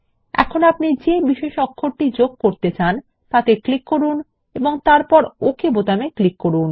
এখন আপনি যে বিশেষ অক্ষর যোগ করতে চান তাতে ক্লিক করুন এবং তারপর ওকে বোতামে ক্লিক করুন